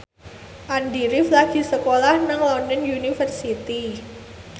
Andy rif lagi sekolah nang London University